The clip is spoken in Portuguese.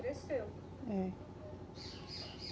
Cresceu. É.